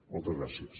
moltes gràcies